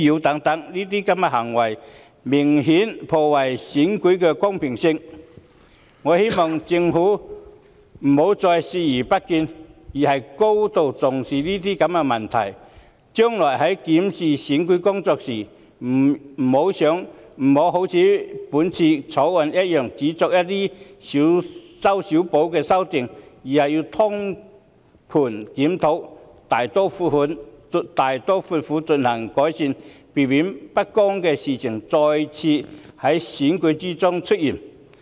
這些行為明顯破壞選舉公平，我希望政府不要再視而不見，而應高度重視這些問題；日後檢視選舉工作時，不要如《條例草案》般只作一些"小修小補"的修訂，而應通盤檢討，大刀闊斧地作出改善，避免不公平的事情再次在選舉中出現。